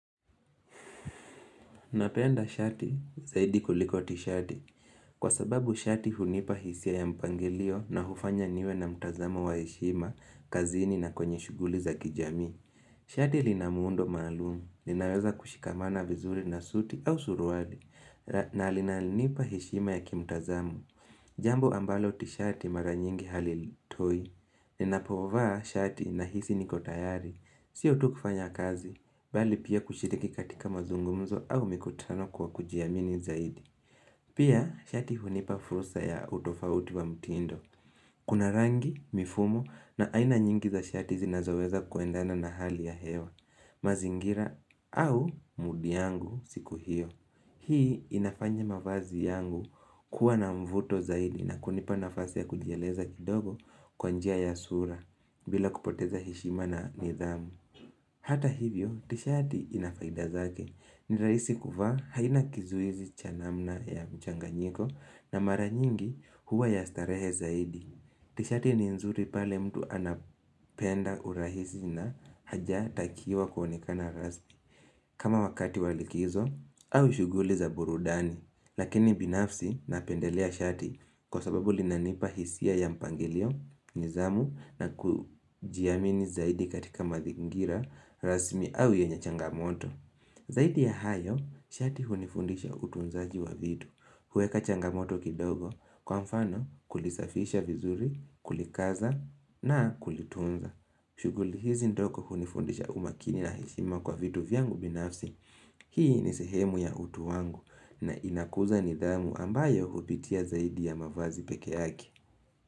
Napenda shati zaidi kuliko tishati. Kwa sababu shati hunipa hisia ya mpangilio na hufanya niwe na mtazamo wa heshima, kazini na kwenye shughuli za kijamii. Shati lina muundo maalumu. Linaweza kushikamana vizuri na suti au suruali. Na linalinipa heshima ya kimtazamo. Jambo ambalo tishati mara nyingi halitoi, ninapovaa shati nahisi niko tayari, sio tu kufanya kazi, bali pia kushiriki katika mazungumzo au mikutano kwa kujiamini zaidi. Pia shati hunipa furusa ya utofauti wa mtindo, kuna rangi, mifumo na aina nyingi za shati zinazoweza kuendana na hali ya hewa, mazingira au mudi yangu siku hiyo. Hii inafanya mavazi yangu kuwa na mvuto zaidi na kunipa nafasi ya kujieleza kidogo kwa njia ya sura bila kupoteza heshima na nidhamu Hata hivyo tishati ina faida zake ni rahisi kuvaa haina kizuizi cha namna ya mchanganyiko na mara nyingi huwa ya starehe zaidi Tishati ni nzuri pale mtu anapenda urahisi na haja hata akiwa kuonekana rasmi kama wakati wa kikizo au shughuli za burudani, lakini binafsi napendelea shati kwa sababu linanipa hisia ya mpangilio, nidhamu na kujiamini zaidi katika mazingira, rasmi au yenye changamoto. Zaidi ya hayo, shati hunifundisha utunzaji wa vitu. Huweka changamoto kidogo kwa mfano kulisafisha vizuri, kulikaza na kulitunza. Shughuli hizi ndogo hunifundisha umakini na heshima kwa vitu vyangu binafsi Hii ni sehemu ya utu wangu na inakuza nidhamu ambayo hupitia zaidi ya mavazi pekee yake.